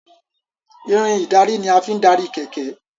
Irin ìdarí ní a fín darí kẹ̀kẹ́.